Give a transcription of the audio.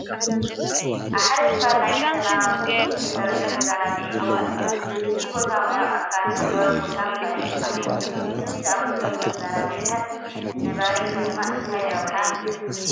ኣብ ሓደ ክፋል ናይ ከተማ ብፍሉይ ዝተሰርሐ መዘናግዒ ቦታ እኒሀ፡፡ እዚ ቦታ ማያዊ ኣካል፣ ሓምለዋይ ቦታን ካልእን ኣለዎ፡፡ ከምዚ ዝኣምሰሉ መዘናግዕታት ንነባሪ ከተማ እንታይ ረብሓ ይህቡ?